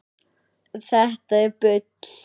Þetta er bull!